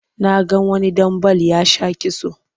Na ga wani ɗan bal ya sha kitso